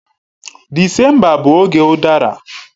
Disemba bụ oge udara.